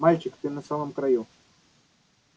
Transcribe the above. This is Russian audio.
мальчик ты на самом краю